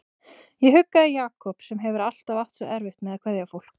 Ég huggaði Jakob sem hefur alltaf átt svo erfitt með að kveðja fólk.